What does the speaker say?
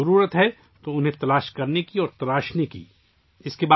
یقیناً انہیں ڈھونڈنے اور پروان چڑھانے کی ضرورت ہے